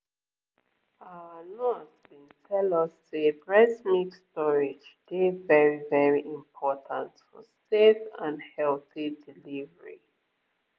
our nurse been tell us say breast milk storage dey very very important for safe and healthy delivery